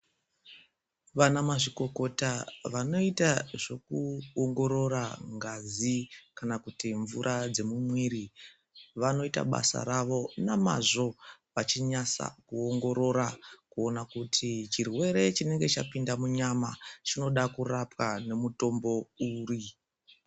Vana mazvikokota vanoita zveku ongorora ngazi kana kuti mvura dze mu mwiri vanooita basa ravo na mazvo vachinyasa kuongorora kuona kuti chirwere chinenge chapinda mu nyama chinoda kurapwa ne mutombo uri.